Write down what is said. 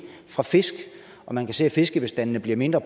fra fisk og man kan se at fiskebestandene bliver mindre